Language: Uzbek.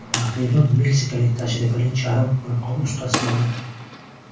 Raqibim meksikalik tajribali charm qo‘lqop ustasi edi.